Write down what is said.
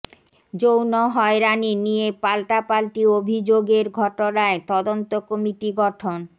যৌন হয়রানি নিয়ে পাল্টাপাল্টি অভিযোগের ঘটনায় তদন্ত কমিটি গঠন